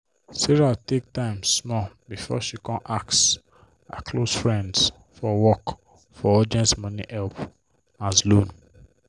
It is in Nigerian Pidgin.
sarah take time small before she kon ask her close friends for work for urgent money help as loan.